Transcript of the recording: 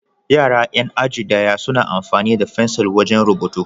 Yara 'yan aji ɗaya suna amfani da fensil wajen rubutu.